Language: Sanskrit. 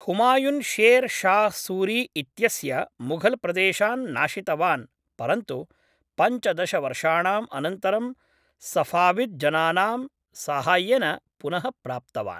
हुमायुन् शेर् शाह् सूरी इत्यस्य मुघलप्रदेशान् नाशितवान्, परन्तु पञ्चदश वर्षाणाम् अनन्तरं सफ़ाविद् जनानां साहाय्येन पुनः प्राप्तवान्।